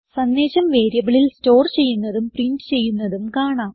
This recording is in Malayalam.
സന്ദേശം വേരിയബിളിൽ സ്റ്റോർ ചെയ്യുന്നതും പ്രിന്റ് ചെയ്യുന്നതും കാണാം